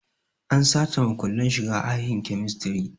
An sace makullin shiga ahin kemistri